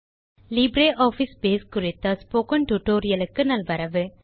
LibreOffice Base குறித்த spoken tutorial க்கு நல்வரவு